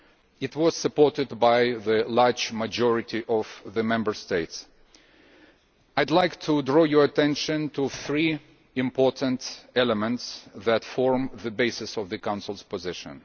It was supported by a large majority of the Member States. I would like to draw your attention to three important elements that form the basis of the Council's position.